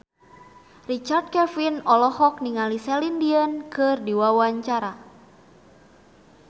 Richard Kevin olohok ningali Celine Dion keur diwawancara